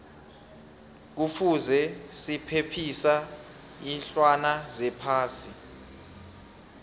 kuvuze sephephisa iinlwana zephasi